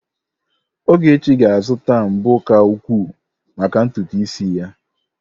Ogechi ga-azụta mbo ka ukwuu maka ntutu isi ya.